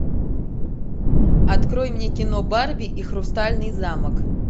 открой мне кино барби и хрустальный замок